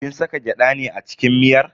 Kin saka gyada ne a cikin miyar?